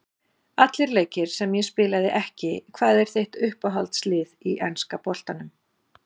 Allir leikir sem ég spilaði ekki Hvað er þitt uppáhalds lið í enska boltanum?